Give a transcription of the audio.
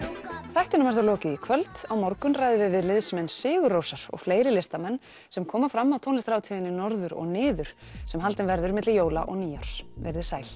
þættinum er þá lokið í kvöld á morgun ræðum við við liðsmenn sigur Rósar og fleiri listamenn sem koma fram á tónlistarhátíðinni Norður og niður sem haldinn verður milli jóla og nýárs veriði sæl